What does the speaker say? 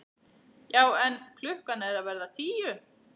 Já en. klukkan er að verða tíu!